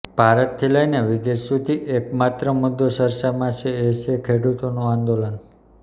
ભારતથી લઇને વિદેશ સુધી એક માત્ર મુદ્દો ચર્ચામાં છે એ છે ખેડૂતોનું આંદોલન